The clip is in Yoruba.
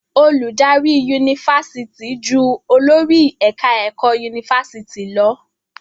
Olùdarí Yunifásitì jù olórí ẹ̀ka ẹ̀kọ́ Yunifásitì lọ.